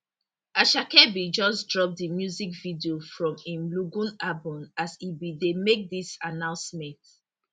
asake bin just drop di music video from im lungu album as e bin dey make dis announcement